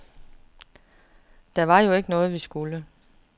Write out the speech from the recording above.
Det var jo ikke noget, vi skulle.